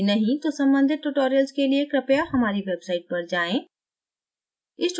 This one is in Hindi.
यदि नहीं तो सम्बंधित tutorials के लिए कृपया हमारी website पर जाएँ